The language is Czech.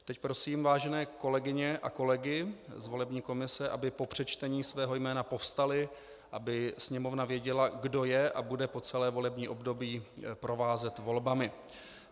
Teď prosím vážené kolegyně a kolegy z volební komise, aby po přečtení svého jména povstali, aby sněmovna věděla, kdo je a bude po celé volební období provázet volbami.